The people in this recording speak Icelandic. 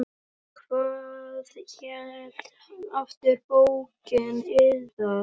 Hvað hét aftur bókin yðar?